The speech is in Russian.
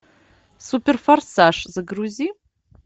супер форсаж загрузи